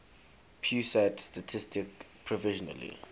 pusat statistik provisionally